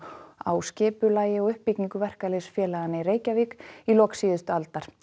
á skipulagi og uppbyggingu verkalýðsfélaganna í Reykjavík í lok síðustu aldar